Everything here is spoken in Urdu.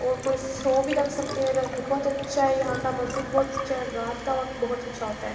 اور کوئی شو بھی رکھ سکتے ہے۔ ادھ بھوت اچھا ہے یہاں کا بھوت اکچھا ہے۔ رات کا وقت بھوت اچھا ہوتا ہے۔